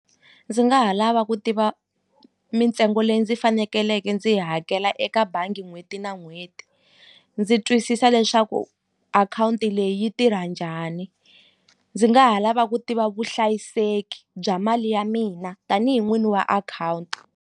Ndzi nga ha lava ku tiva mintsengo leyi ndzi fanekeleke ndzi yi hakela eka bangi n'hweti na n'hweti ndzi twisisa leswaku akhawunti leyi yi tirha njhani ndzi nga ha lava ku tiva vuhlayiseki bya mali ya mina tanihi n'wini wa akhawunti.